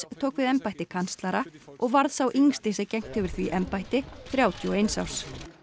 tók við embætti kanslara og varð sá yngsti sem gegnt hefur því embætti þrjátíu og eins árs